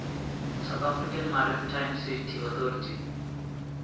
south african maritime safety authority